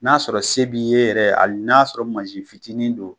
N'a sɔrɔ se b'i ye yɛrɛ hali n'a sɔrɔ masin fitinin don.